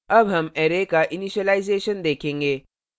अब हम array का इनीशिलाइज़ेशन देखेंगे